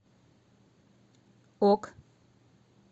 ок